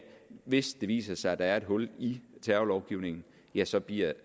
hvis det viser sig at der er et hul i terrorlovgivningen ja så bliver